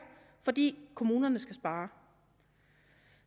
fordi kommunerne skal spare